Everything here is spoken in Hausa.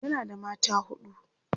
yana da mata huɗu